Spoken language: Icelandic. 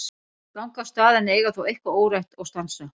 Þau ganga af stað en eiga þó eitthvað órætt og stansa.